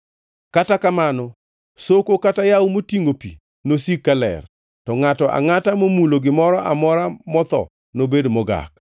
Kata kamano soko kata yawo motingʼo pi nosik ka ler, to ngʼato angʼata momulo gimoro amora motho nobed mogak.